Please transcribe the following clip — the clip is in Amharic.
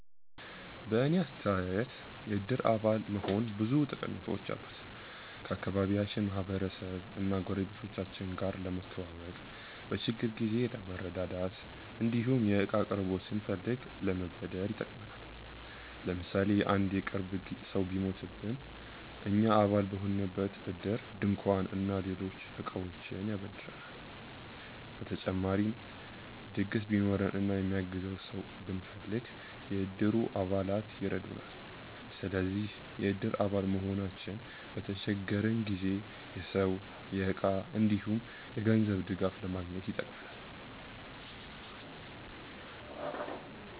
በእኔ አስተያየት የእድር አባል መሆን ብዙ ጠቀሜታዎች አሉት። ከአካባቢያችን ማህበረሰብ እና ጎረቤቶቻችን ጋር ለመተዋወቅ፣ በችግር ጊዜ ለመረዳዳት እንዲሁም የእቃ አቅርቦት ስንፈልግ ለመበደር ይጠቅማል። ለምሳሌ አንድ የቅርብ ሰው ቢሞትብን እኛ አባል የሆንበት እድር ድንኳን እና ሌሎች እቃዎችን ያበድረናል። በተጨማሪም ድግስ ቢኖረን እና የሚያግዘን ሰው ብንፈልግ፣ የእድሩ አባላት ይረዱናል። ስለዚህ የእድር አባል መሆናችን በተቸገረን ጊዜ የሰው፣ የእቃ እንዲሁም የገንዘብ ድጋፍ ለማግኘት ይጠቅማል።